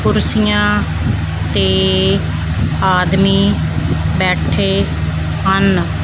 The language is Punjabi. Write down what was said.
ਕੁਰਸੀਆਂ ਤੇ ਆਦਮੀ ਬੈਠੇ ਹਨ।